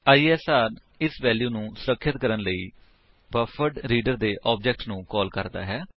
ISR ਇਸ value ਨੂੰ ਸੁਰਖਿਅਤ ਕਰਣ ਲਈ ਬਫਰਡਰੀਡਰ ਆਬਜੇਕਟ ਨੂੰ ਕਾਲ ਕਰਦਾ ਹੈ